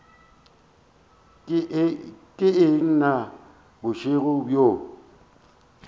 ke eng na bošego bjo